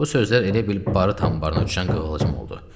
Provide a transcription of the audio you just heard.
Bu sözlər elə bil barıt anbarına düşən qığılcım oldu.